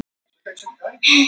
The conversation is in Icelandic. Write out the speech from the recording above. Veturhús voru hjáleiga frá bænum